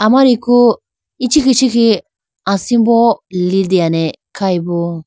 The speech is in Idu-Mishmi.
Amariku ichikhiah ichikhiah asimbo litene khayibo.